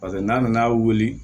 Paseke n'a nana wuli